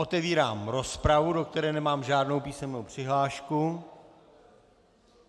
Otevírám rozpravu, do které nemám žádnou písemnou přihlášku.